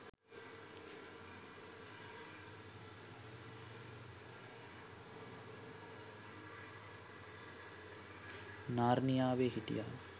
නාර්නියාවේ හිටිය